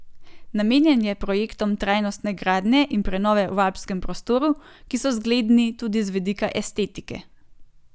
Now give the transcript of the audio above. Namenjen je projektom trajnostne gradnje in prenove v alpskem prostoru, ki so zgledni tudi z vidika estetike.